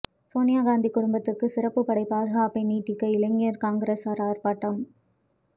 சோனியா காந்தி குடும்பத்துக்கு சிறப்பு படை பாதுகாப்பை நீட்டிக்க இளைஞர் காங்கிரசார் ஆர்ப்பாட்டம்